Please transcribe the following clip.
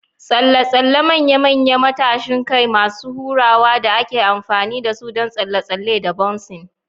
tsalle-tsalle manya-manyan matashin kai masu hurawa da ake amfani da su don tsalle-tsalle da bouncing.